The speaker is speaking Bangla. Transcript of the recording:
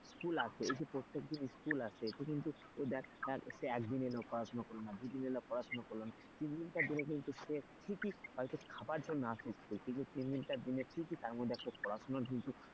school আসে এই যে প্রত্যেকদিন school আসে এতে কিন্তু সে দেখ এক দিন এলো পড়াশোনা করলে না দুই দিন এলো পড়াশোনা করল না তিন দিন তার জন্য কিন্তু সে ঠিকই হয়তো খাবার জন্য আসে school কিন্তু তিন দিন চার দিন ঠিকই তার মধ্যে পড়াশোনা কিন্তু,